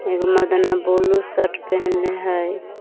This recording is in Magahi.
एगो मर्दनवा ब्लू शर्ट पहनले हइ।